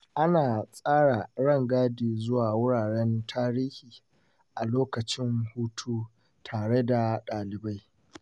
Ana tsara rangadi zuwa wuraren tarihi a lokacin hutu tare da ɗalibai